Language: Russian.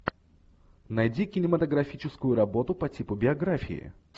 найди кинематографическую работу по типу биографии